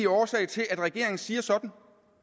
årsag til at regeringen siger sådan